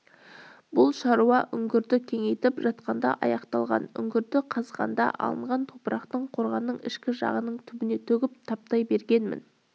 бұл шаруа үңгірді кеңейтіп жатқанда аяқталған үңгірді қазғанда алынған топырақты қорғанның ішкі жағының түбіне төгіп таптай бергенмін